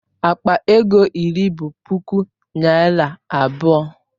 Akpa ego iri bụ puku naira abụọ.